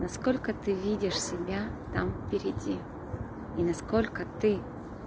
сколько ты видишь себя там впереди и насколько ты